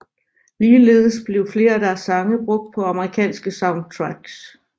Ligeledes blev flere af deres sange brugt på Amerikanske soundtracks